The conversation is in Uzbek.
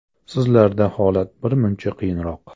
Sizlarda holat birmuncha qiyinroq.